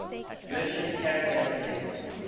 merchant caravan heading